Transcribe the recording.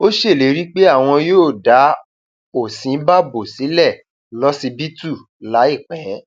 ó ṣèlérí pé wọn yóò dá òsínbàbò sílẹ lọsibítù láìpẹ